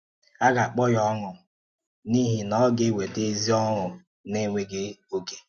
Á ga-akpọ̀ ya ọ́ṅụ̀, n’ihi na ọ ga-ewètà ezi ọ́ṅụ̀ na-enwèghị́ òké.